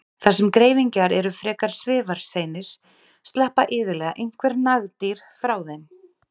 Þar sem greifingjar eru frekar svifaseinir sleppa iðulega einhver nagdýr frá þeim.